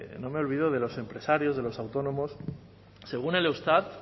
no me olvido de los empresarios de los autónomos según el eustat